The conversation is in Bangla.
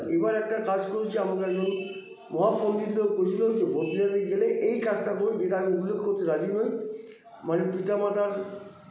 এইবার একটা কাজ করেছি আমাকে একজন মহা পন্ডিত লোক বলেছিলো কী বদ্রীনাথে গেলে এই কাজটা করুন যেটা আমি উল্লেখ করতে রাজি নই মানে পিতা মাতার